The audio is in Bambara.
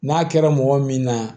N'a kɛra mɔgɔ min na